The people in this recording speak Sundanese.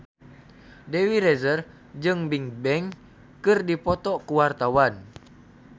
Dewi Rezer jeung Bigbang keur dipoto ku wartawan